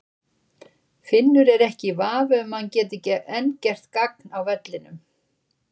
Finnur er ekki í vafa um að hann gæti enn gert gagn á vellinum.